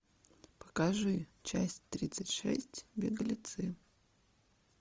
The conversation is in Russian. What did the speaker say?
покажи часть тридцать шесть беглецы